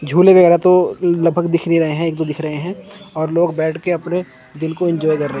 झूले व्येगैरा तो लगभग दिख नहीं रहे हैं एक दो दिख रहे हैं और लोग बैठ के अपने दिन को इंजॉय कर रहे--